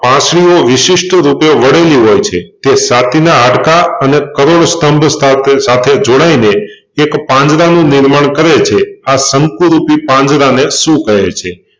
પાંસળીઓ વિશિષ્ટરૂપે વળેલી હોય છે તે છાતીના હાડકાં અને કરોડસ્તંભ સાથે સાથે જોડાઈને એક પાંદડાનું નિર્માણ કરે છે આ તંતુરૂપી પાંદડાંને શું કહે છે?